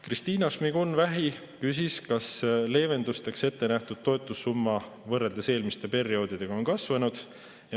Kristina Šmigun-Vähi küsis, kas leevendusteks ettenähtud toetussumma on võrreldes eelmiste perioodidega kasvanud.